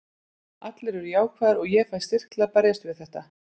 Allir eru jákvæðir og ég fæ styrk til að berjast við þetta.